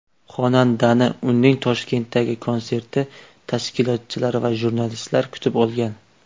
Xonandani uning Toshkentdagi konserti tashkilotchilari va jurnalistlar kutib olgan.